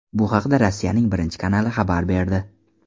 Bu haqda Rossiyaning Birinchi kanali xabar berdi.